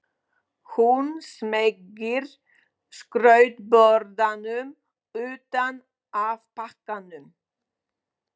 Hún smeygir skrautborðanum utan af pakkanum.